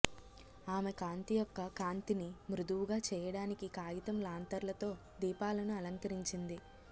ఆమె కాంతి యొక్క కాంతిని మృదువుగా చేయడానికి కాగితం లాంతర్లతో దీపాలను అలంకరించింది